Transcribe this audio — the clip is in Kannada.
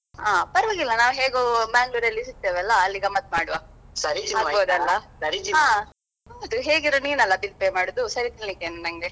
ಹ ಪರ್ವಾಗಿಲ್ಲಾ ನಾವ್ ಹೇಗೂ Mangalore ಅಲ್ಲಿ ಸಿಕ್ತೇವಲ್ಲಾ ಅಲ್ಲಿ ಗಮ್ಮತ್ ಮಾಡುವ ಆಗ್ಬೋದಲ್ಲ ಹಾ ಹೇಗಿದ್ರೂ ನೀನಲ್ಲಾ bill pay ಮಾಡುದು ಸರಿ ತಿನ್ಲಿಕ್ಕೆ ಇನ್ನು ನಂಗೆ?